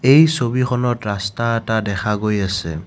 এই ছবিখনত ৰাস্তা এটা দেখা গৈ আছে।